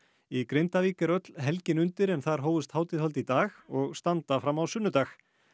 í Grindavík er öll helgin undir en þar hófust hátíðahöld í dag og standa fram á sunnudag